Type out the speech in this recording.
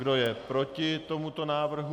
Kdo je proti tomuto návrhu?